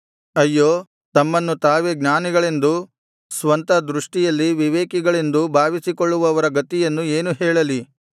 ಅಯ್ಯೋ ತಮ್ಮನ್ನು ತಾವೇ ಜ್ಞಾನಿಗಳೆಂದೂ ಸ್ವಂತ ದೃಷ್ಟಿಯಲ್ಲಿ ವಿವೇಕಿಗಳೆಂದೂ ಭಾವಿಸಿಕೊಳ್ಳುವವರ ಗತಿಯನ್ನು ಏನು ಹೇಳಲಿ